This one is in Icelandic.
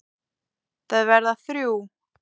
Þau verða þrjú.